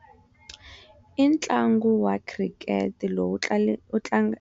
I ntlangu was Cricket lowu wu tla le wu tlanga.